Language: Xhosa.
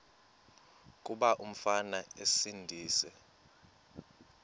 kuba umfana esindise